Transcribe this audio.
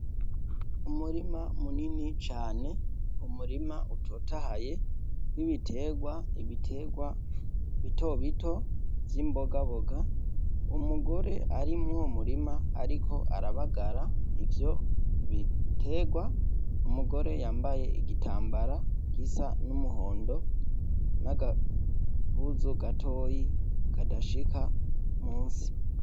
Umurima munini cane umurima utotahaye woibitegwa ibitegwa bitobito z'imbogaboga umugore arimwo murima, ariko arabagara ivyo biterwa umugore yambaye igitambara gisa n'umuwewe ondo n'agakuzu gatoyi kadashika musi.